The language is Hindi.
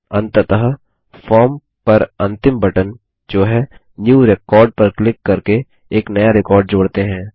अंततः फॉर्म पर अंतिम बटन जो है न्यू रेकॉर्ड पर क्लिक करके एक नया रिकॉर्ड जोड़ते हैं